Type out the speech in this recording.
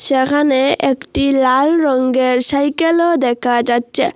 একানে একটি লাল রংগের ছাইকেলও দেকা যাচ্চে।